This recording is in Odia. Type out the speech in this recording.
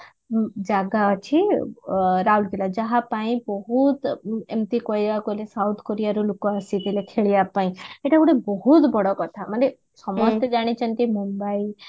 ଉଁ ଜାଗା ଅଛି ରାଉରକେଲା ଯାହାପାଇଁ ଏମିତି ବହୁତ କହିବାକୁ ଗଲେ south କୋରିଆ ରୁ ଲୋକ ଆସିଥିଲେ ଖେଳିବା ପାଇଁ ଏଟା ଗୋଟେ ବହୁତ ବଡ କଥା ମାନେ ସମସ୍ତେ ଜାଣିଛନ୍ତି ମୁମ୍ବାଇ